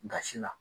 Gasi la